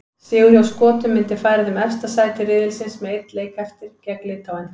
Sigur hjá Skotum myndi færa þeim efsta sæti riðilsins með einn leik eftir, gegn Litháen.